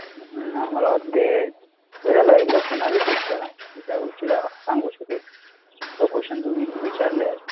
मला वाटते पुन्हा एकदा रिपीट करा, ज्या गोष्टीला सांगू शकेल, जो question तुम्ही विचारलंय,